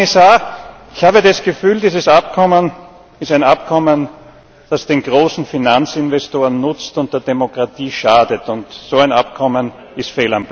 Herr Kommissar, ich habe das Gefühl, dieses Abkommen ist ein Abkommen, das den großen Finanzinvestoren nutzt und der Demokratie schadet, und so ein Abkommen ist